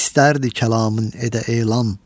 İstərdi kəlamın edə elan.